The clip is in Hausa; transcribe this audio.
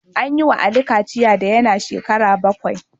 An yi wa Ali kachiya da yana shekaru bakwai